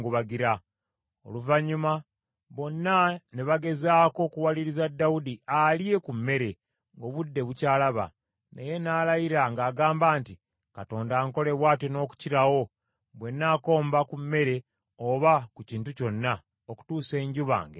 Oluvannyuma bonna ne bagezaako okuwaliriza Dawudi alye ku mmere ng’obudde bukyalaba, naye n’alayira ng’agamba nti, “Katonda ankole bw’atyo n’okukirawo, bwe nnaakomba ku mmere oba ku kintu kyonna, okutuusa enjuba ng’emaze okugwa.”